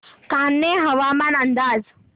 कान्हे हवामान अंदाज